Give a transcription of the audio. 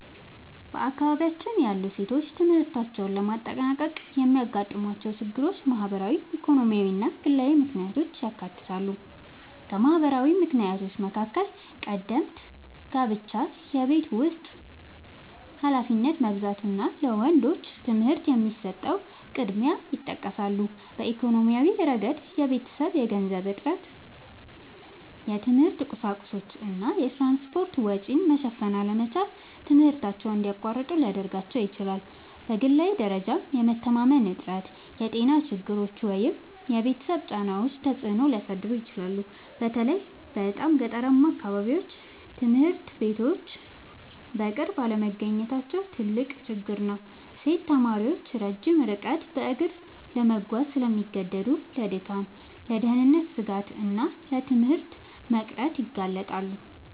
በአካባቢያችን ያሉ ሴቶች ትምህርታቸውን ለማጠናቀቅ የሚያጋጥሟቸው ችግሮች ማህበራዊ፣ ኢኮኖሚያዊ እና ግላዊ ምክንያቶችን ያካትታሉ። ከማህበራዊ ምክንያቶች መካከል ቀደምት ጋብቻ፣ የቤት ውስጥ ኃላፊነት መብዛት እና ለወንዶች ትምህርት የሚሰጠው ቅድሚያ ይጠቀሳሉ። በኢኮኖሚያዊ ረገድ የቤተሰብ የገንዘብ እጥረት፣ የትምህርት ቁሳቁሶች እና የትራንስፖርት ወጪ መሸፈን አለመቻል ትምህርታቸውን እንዲያቋርጡ ሊያደርጋቸው ይችላል። በግላዊ ደረጃም የመተማመን እጥረት፣ የጤና ችግሮች ወይም የቤተሰብ ጫናዎች ተጽዕኖ ሊያሳድሩ ይችላሉ። በተለይ በጣም ገጠራማ አካባቢዎች ትምህርት ቤቶች በቅርብ አለመገኘታቸው ትልቅ ችግር ነው። ሴት ተማሪዎች ረጅም ርቀት በእግር ለመጓዝ ስለሚገደዱ ለድካም፣ ለደህንነት ስጋት እና ለትምህርት መቅረት ይጋለጣሉ